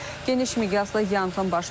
Geniş miqyaslı yanğın başlayıb.